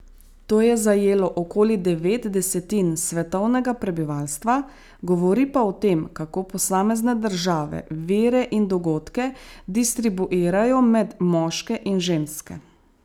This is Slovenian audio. To je zajelo okoli devet desetin svetovnega prebivalstva, govori pa o tem, kako posamezne države vire in dogodke distribuirajo med moške in ženske.